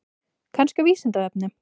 Kannski á Vísindavefnum?